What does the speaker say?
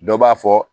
Dɔ b'a fɔ